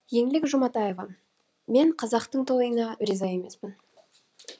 еңлік жұматаева мен қазақтың тойына риза емеспін